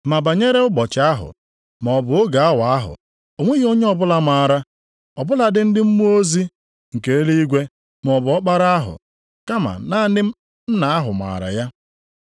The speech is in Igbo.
“Ma banyere ụbọchị ahụ, maọbụ oge awa ahụ, o nweghị onye ọbụla maara, ọ bụladị ndị mmụọ ozi nke eluigwe, maọbụ Ọkpara ahụ, kama naanị Nna ahụ maara ya.